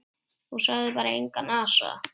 Og sagði bara: Engan asa.